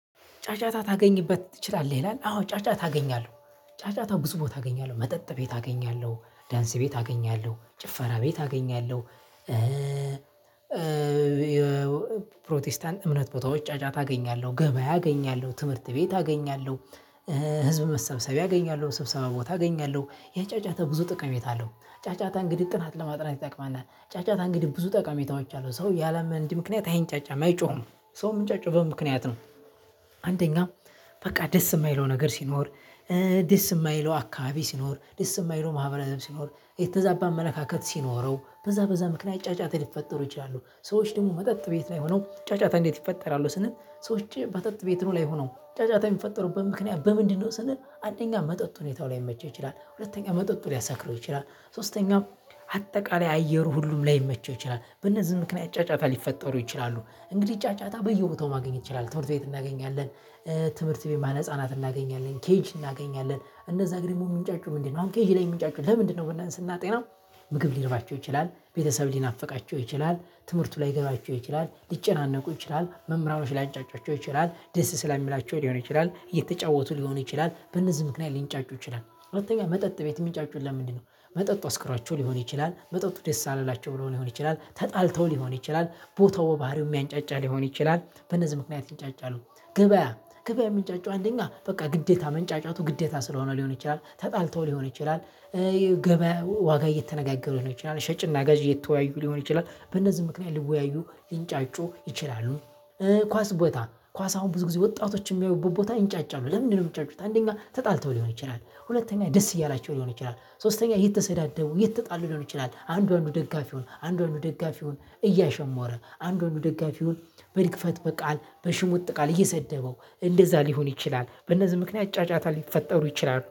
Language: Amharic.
ጫጫታ ታገኝበት ትችላለህ ይላል አዎ ጫጫታ ታገኛለህ ጫጫታው ብዙ ቦታ አገኛለሁ መጠጥ ቤት አገኛለሁ ዳንስ ቤት አገኛለሁ ጭፈራ ቤት አገኛለሁ። ታገኛለሁ ፕሮቴስታንት እምነት ቦታዎች ጫጫታ አገኛለሁ ገበያ አገኛለሁ ትምህርት ቤት አገኛለሁ። ህዝብ መሰብሰቢያ አገኛለሁ ስብሰባ ቦታ አገኛለሁ ያጫጫታ ብዙ ጥቅም የታለው ጫጫታ እንግዲህ ጥናት ለማጥናት ይጠቅማልናል ጫጫታ እንግዲህ ብዙ ጠቀሜታዎች አሉት ሰው ያለምንም ምክንያት አይንጫጫም አይጮህም ሰው እሚንጫጫው በምክንያት ነው። አንደኛ በቃ ደስ የማይለው ነገር ሲኖር ደስ የማይለው አካባቢ ሲኖር ደስ የማይለው ማህበረሰብ ሲኖር የተዛባ መለካከት ሲኖረው በዛ በዛ ምክንያት ጫጫት ሊፈጠሩ ይችላሉ። ሰዎች ደግሞ መጠጥ ቤት ላይ ሆነው ጫጫታ እንዴት ይፈጠራሉ? ስንት ሰዎች መጠጥ ቤት ነው ላይ ሆኖ ጫጫታ የሚፈጠሩበት ምክንያት በምንድነው ስንል? አንደኛ መጠጥ ሁኔታው ላይመቸው ይችላል። ሁለተኛ መጠጡ ሊያሰክረው ይችላል። ሶስተኛው አጠቃላይ አየሩ ሁሉም ላይመቸው ይችላል በእነዚህ ምክንያት ጫጫታ ሊፈጠሩ ይችላሉ። እንግዲህ ጫጫታ በየቦታው ማግኘት ትችላለህ ትምህርት ቤት እናገኛለን። ትምህርት ቤት መዋዕለ ህፃናት እናገኛለን ኬጅ እናገኛለን እነዛ እንግዲህ የሚንጫጩ ምንድነው አሁን ኬጅ ላይ የሚንጫጩ ለምንድነው ብለን ስናጤናው? ምግብ ሊርባቸው ይችላል ቤተሰብ ሊናፍቃቸው ይችላል ትምህርቱ ላይገባቸው ይችላል ሊጨናነቁ ይችላል መምህራኖች ላንጫጮቹ ይችላል ደስ ስለሚላቸው ሊሆን ይችላል እየተጫወቱ ሊሆን ይችላል በእነዚህ ምክንያት ሊንጫጩ ይችላል። አሁን ተብሎ መጠጥ ቤት የሚጫጩን ለምንድነው? መጠጡ አስክራቸው ሊሆን ይችላል መጠጡ ደስ አላላቸው ብለው ሊሆን ይችላል ተጣልተው ሊሆን ይችላል ቦታው ባህሪው የሚያንጫጫ ሊሆን ይችላል በነዚህ ምክንያት ይንጫጫሉ። ገበያ ገበያ የሚንጫጫው አንደኛ በቃ ግዴታ መንጫጫቱ ግዴታ ስለሆነ ሊሆን ይችላል ተጣልተው ሊሆን ይችላል። ገበያ ዋጋ እየተነጋገሩት ነው። ይቺን ሸጭና ገዢ እየተወያዩ ሊሆን ይችላል በእነዚህ ምክንያት ሊወያዩ ሊንጫጩ ይችላሉ። ኳስ ቦታ ኳስ አሁን ብዙ ጊዜ ወጣቶች የሚያዩት ቦታ ይንጫጫሉ ለምንድነው የሚጫጩት? አንደኛ ተጣልተው ሊሆን ይችላል ሁለተኛ ደስ እያላቸው ሊሆን ይችላል ሶስተኛ የተሰዳደቡ የተጣሉ ሊሆን ይችላል አንዱ ደጋፊ ሁን አንዱ አንዱ ደጋፊ ሁን እያሸመረ አንዱ አንዱ ደጋፊ ደጋፊውን በሊክፈት በቃል በሽሙጥ ቃል እየሰደበው እንደዛ ሊሆን ይችላል። በእነዚህ ምክንያት ጫጫታ ሊፈጠሩ ይችላሉ